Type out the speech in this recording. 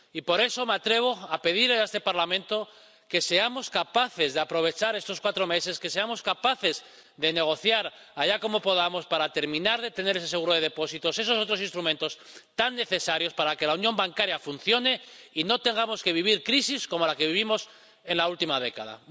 Y, por eso, me atrevo a pedir a este Parlamento que seamos capaces de aprovechar estos cuatro meses, que seamos capaces de negociar —como podamos— para terminar de tener ese seguro de depósitos, esos otros instrumentos tan necesarios para que la unión bancaria funcione y no tengamos que vivir crisis como la que vivimos en la última década.